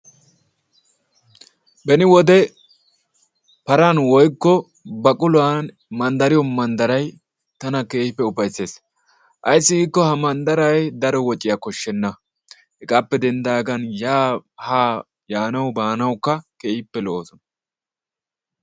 Beni wode paran woykko baquluwan manddariyo manddarayi tana keehippe ufaysses. Ayssi giikkoo ha manddarayi daro waciya koshshenna. Hegaappe denddaagan yaa haa yaanawu baanawukka keehippe lo"oosona.